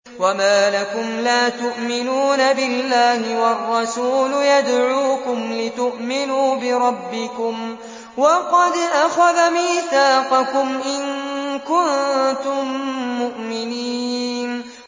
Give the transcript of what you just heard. وَمَا لَكُمْ لَا تُؤْمِنُونَ بِاللَّهِ ۙ وَالرَّسُولُ يَدْعُوكُمْ لِتُؤْمِنُوا بِرَبِّكُمْ وَقَدْ أَخَذَ مِيثَاقَكُمْ إِن كُنتُم مُّؤْمِنِينَ